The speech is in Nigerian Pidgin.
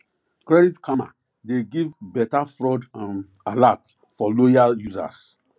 credit karma dey give better fraud um alert for loyal users